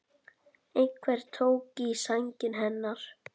Einhver tók í sængina hennar.